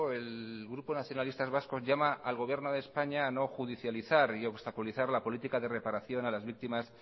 el grupo nacionalistas vascos llama al gobierno de españa a no judicializar y obstaculizar la política de reparación a las víctimas